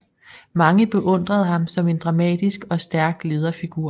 Mange beundrede ham som en dramatisk og stærk lederfigur